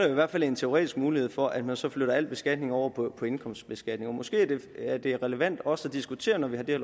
i hvert fald en teoretisk mulighed for at man så flytter al beskatningen over på indkomstbeskatningen måske er det relevant også at diskutere når vi har det